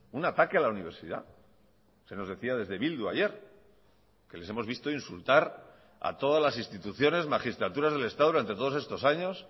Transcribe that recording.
un ataque a la universidad se nos decía desde bildu ayer que les hemos visto insultar a todas las instituciones magistraturas del estado durante todos estos años